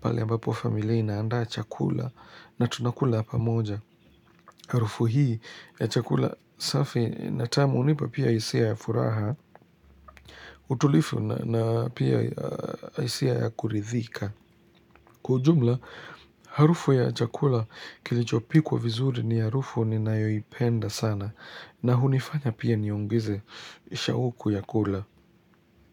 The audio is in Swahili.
Pale ambapo familia inaandaa chakula na tunakula pamoja. Harufu hii ya chakula safi natamu hunipa pia hisia ya furaha. Utulifu na pia hisia ya kuridhika Kwa ujumla, harufu ya chakula kilichopikwa vizuri ni harufu ninayoipenda sana na hunifanya pia niongeze shauku ya kula.